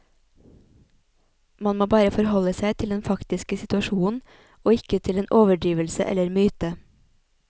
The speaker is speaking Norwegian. Man må bare forholde seg til den faktiske situasjonen og ikke til en overdrivelse eller myte.